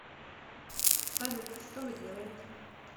салют что вы делаете